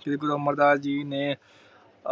ਸ਼੍ਰੀ ਗੁਰੂ ਅਮਰ ਦਾਸ ਜੀ ਨੇ